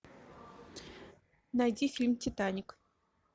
найди фильм титаник